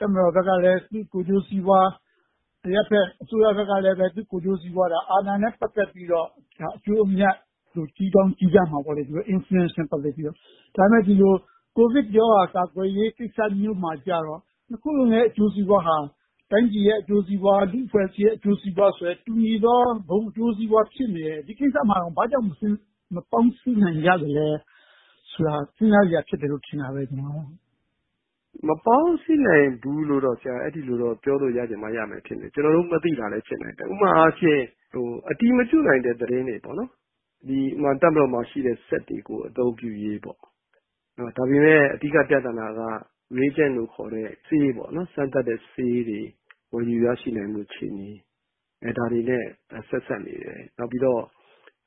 တပ်မတော်ဘက်ကလဲ သူ့အကျိုးစီးပွား။ အရပ်ဘက်အစိုးရဘက်ကလဲ သူ့အကျိုးစီးပွား အာဏာနဲ့ ပတ်သက်ပြီးတော့ အကျိုးအမြတ် ကြည့်ကောင်းကြည့်ကြမှာပေါ့။ ဒါပေမဲ့ အခုလို ကိုဗစ်ရောဂါ ကာကွယ်ရေးကိစ္စမျိုးမှာကြတော့ နှစ်ခုစလုံးရဲ့ အကျိုးစီးပွားဟာ တိုင်းပြည်ရဲ့ အကျိုုးစီးပွား၊ လူ့အဖွဲ့အစည်းရဲ့ အကျိုးစီးပွားဆိုတဲ့ တူညီသော ဘုံအကျိုးစီးပွားဖြစ်နေတယ်။ ဒီကိစ္စမှာ ဘာကြောင့် မပေါင်းစည်းနိုင်ကြသလဲဆိုတာ စဉ်းစားစရာဖြစ်တယ်လို့ ထင်တာပဲ ကျနော်ကတော့။ ဖြေ ။ ။ မပေါင်းစည်းနိုင်ဘူးလို့တော့ အဲဒီလိုတော့ ပြောလို့တော့ ရချင်မှရမယ်ထင်တယ်။ ကျနော်တို့ မသိနိုင်တာလဲ ဖြစ်နိုင်တယ်။ ဥပမာအားဖြင့် အတည်မပြုနိုင်တဲ့ သတင်းတွေက တပ်မတော်မှာရှိနေတဲ့ စက်တွေကို အသုံးပြုရေး။ ဒါပေမဲ့ အဓိကပြဿနာက reagent လို့ခေါ်တဲ့ စမ်းသပ်တဲ့ဆေးတွေ ဝယ်ယူရရှိနိုင်ဖို့ အခြေအနေ။ ဒါတွေနဲ့ ဆက်စပ်နေတယ်။ နောက်ပြီးတော့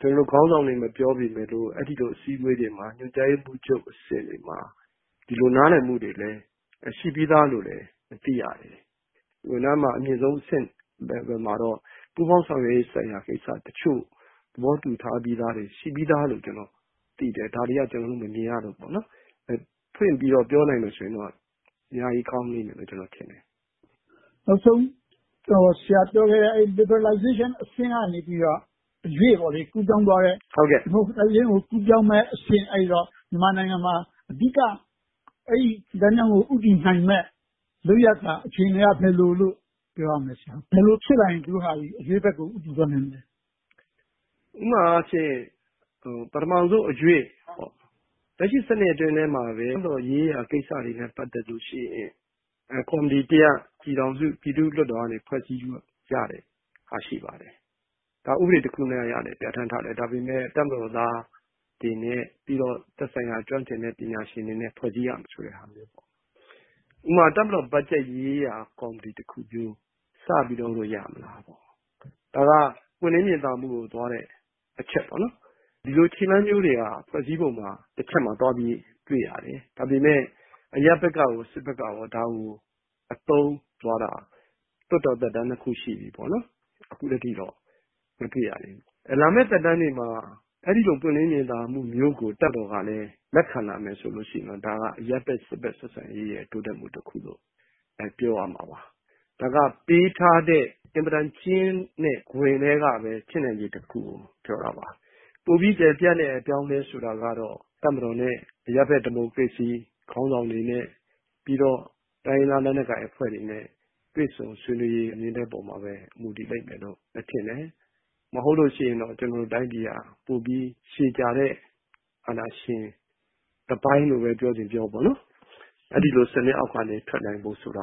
ခေါင်းဆောင်တွေ မပြောပေမယ့် အဲဒီလို အစည်းအဝေးတွေမှာ ညွှန်ကြားရေးမှူးချုပ်အဆင့်တွေမှာ ဒီလိုနားလည်မှုတွေလဲ ရှိပြီးသားလို့ သိရတယ်။ ဝန်ထမ်းမှာ အမြင့်ဆုံးအဆင့် level မှာတော့ ပူးပေါင်းဆောင်ရွက်ရေးကိစ္စတချို့သဘောတူညီမှုတွေ ရှိပြီးသားလို့ ကျနော်သိတယ်။ ဒါတွေက ကျနော်တို့ မမြင်ရလို့ပေါ့။ ဖွင့်ပြီးတော့ ပြောနိုင်မယ်ဆိုရင်တော့ အများကြီးကောင်းမယ်လို့ ကျနော်ထင်တယ်။ မေး ။ ။ နောက်ဆုံးမေးချင်တာက ဆရာပြောခဲ့တဲ့ liberalization အဆင့်ကနေ အရွေ့ကူးပြောင်းသွားတဲ့ democratization အဆင့်ကို ကူးပြောင်းမယ့်အဆင့် မြန်မာနိုင်ငံမှာ အဓိက အဲဒီလမ်းကြောင်းကို ဦးတည်နိုင်မယ့် လုပ်ရပ်က အခြေအနေက ဘယ်လိုလဲလို့ ပြောရမလဲ။ ဘယ်လိုဖြစ်လာရင် သူတို့က အရွေ့ဘက်ကို ဦးတည်သွားနိုင်မလဲ။ ဖြေ ။ ။ ဥပမာအားဖြင့် ပထမဦးဆုံးအရွေ့ လက်ရှိစနစ်အတွင်းမှာပဲ ရေးရာကိစ္စတွေနဲ့ ပတ်သက်လို့ရှိရင် ကော်မတီတရပ် ပြည်ထောင်စုပြည်သူ့လွှတ်တော်က ဖွဲ့စည်းကြတာ ရှိပါတယ်။ ဥပဒေတရပ်အနေနဲ့ ပြဌာန်းထားတယ်။ ဒါပေမဲ့ တပ်မတော်သားတွေနဲ့ သက်ဆိုင်ရာကျွမ်းကျင်ပညာရှင်တွေနဲ့ ဖွဲ့စည်းထားရမယ် ဆိုတာမျိုး။ ဥပမာ တပ်မတော်ရေးရာ ဘတ်ဂျက်ကော်မတီတခုမျိုး စပြီးတော့ လုပ်လို့ရမလားပေါ့။ ဒါက ပွင့်လင်းမြင်သာမှုကိုသွားတဲ့ အချက်။ ဒီလိုခြေလှမ်းမျိုးတွေက ဖွဲ့စည်းပုံမှာ တချက်မှာသွားပြီးတော့ တွေ့ရတယ်။ ဒါပေမဲ့ အရပ်ဘက်ကရော၊ စစ်ဘက်ကရော ဒါကို အသုံးပြုသွားတာ လွှတ်တော်သက်တမ်းနှစ်ခုရှိပြီ၊ အခုထက်ထိတော့ မတွေ့ရသေးဘူး။ လာမယ့်သက်တမ်းတွေမှာ အဲဒီလို ပွင့်လင်းမြင်သာမှုမျိုးကို တပ်မတော်ကလဲ လက်ခံလာမယ်ဆိုရင်တော့ ဒါက အရပ်ဘက်-စစ်ဘက် ဆက်ဆံရေးရဲ့ တိုးတက်မှုတခုလို့ ပြောရမှာပါ။ ဒါက ပေးထားတဲ့ အင်မတန်ကျဉ်းတဲ့ခွင်ထဲက ဖြစ်နိုင်ခြေတခုကို ပြောတာပါ။ ပိုပြီးကျယ်ပြန့်တဲ့ အပြောင်းအလဲဆိုတာကတော့ တပ်မတော်နဲ့ အရပ်ဘက် ဒီမိုကရေစီခေါင်းဆောင်တွေနဲ့ ပြီးတော့ တိုင်းရင်းသားလက်နက်ကိုင်အဖွဲ့တွေနဲ့ တွေ့ဆုံဆွေးနွေးရေးပေါ်မှာပဲ မူတည်လိမ့်မယ်လို့ ထင်တယ်။ မဟုတ်လို့ရှိရင်တော့ ကျနော်တို့တိုင်းပြည်က ပိုပြီး ရှည်ကြာတဲ့ အာဏာရှင် တပိုင်းလို့ပဲ ပြောချင်ပြောပေါ့ အဲဒီလိုစနစ်အောက်က ထွက်နိုင်ဖို့ဆိုတာ